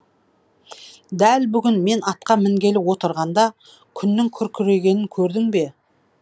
дәл бүгін мен атқа мінгелі отырғанда күннің күркірегенін көрдің бе